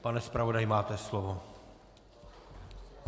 Pane zpravodaji, máte slovo.